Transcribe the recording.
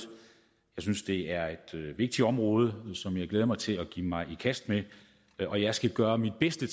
jeg synes det er et vigtigt område som jeg glæder mig til at give mig i kast med og jeg skal gøre mit bedste